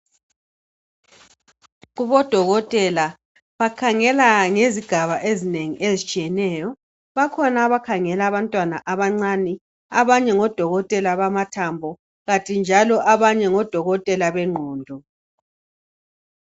Kubodokotela ,bakhangela ngezigaba ezinengi ezitshiyeneyo .Bakhona abakhangela abantwana abancane ,abanye ngodokotela bamathambo kanti njalo abanye ngodokotela bengqondo.